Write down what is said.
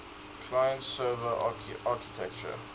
client server architecture